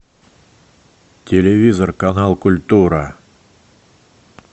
телевизор канал культура